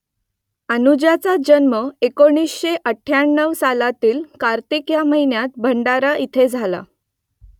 अनुजाचा जन्म एकोणीसशे अठ्ठ्याण्णव सालातील कार्तिक या महिन्यात भंडारा इथे झाला